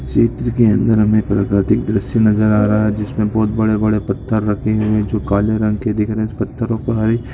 चित्र के अंदर हमें प्राकृतिक दृश्य नज़र आ रहा है जिसमे बहुत बड़े बड़े पत्थर रखे हुए हैं जो काले रंग के दिख रहे हैं पत्थरों पर हरे--